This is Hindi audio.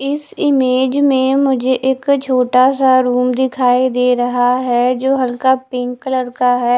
इस इमेज में मुझे एक छोटा सा रूम दिखाई दे रहा है जो हल्का पिंक कलर का है।